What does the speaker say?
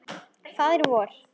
Faðir vor